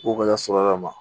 O gɛlɛya sɔrɔla ka ma